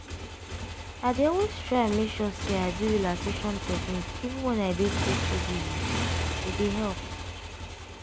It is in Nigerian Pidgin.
i dey always try make sure say i do relaxation technique even when i dey too too busy - e dey help.